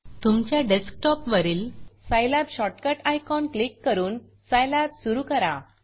तुमच्या डेस्क टॉपवरील Scilabसाईलॅब शॉर्टकट आयकॉन क्लिक करून Scilabसाईलॅब सुरू करा